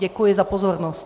Děkuji za pozornost.